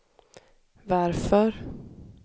varför